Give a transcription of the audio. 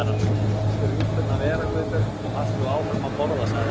Láttu rjúpurnar vera, Guðbjörg, og haltu áfram að borða sagði amma.